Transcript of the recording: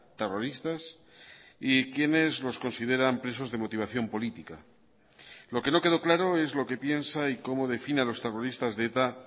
terroristas y quiénes los consideran presos de motivación política lo que no quedó claro es lo que piensa y cómo define a los terroristas de eta